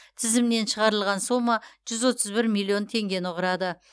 тізімнен шығарылған сома жүз отыз бір миллион теңгені құрады